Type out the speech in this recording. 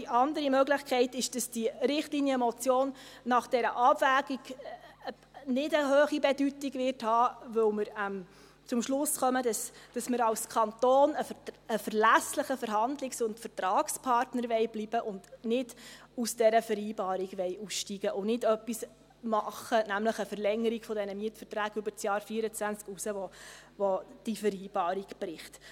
Die andere Möglichkeit ist, dass die Richtlinienmotion nach der Abwägung nicht eine hohe Bedeutung haben wird, weil wir zum Schluss kommen, dass wir als Kanton ein verlässlicher Verhandlungs- und Vertragspartner bleiben wollen, dass wir nicht aus dieser Vereinbarung aussteigen und nicht etwas machen wollen – nämlich eine Verlängerung dieser Mietverträge über das Jahr 2024 hinaus –, das diese Vereinbarung bricht.